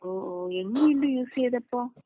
ഓഹ് ഓഹ് എങ്ങനെ ഉണ്ട് യൂസ് ചെയ്തപ്പോ?